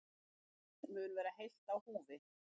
Fólkið mun vera heilt á húfi